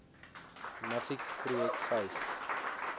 nuffic projek vyf